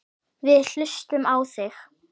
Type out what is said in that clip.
Við hlustum á þig.